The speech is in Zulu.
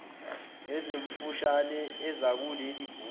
ezimfushane ezikuleli bhuku